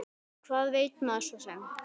Hvað veit maður svo sem.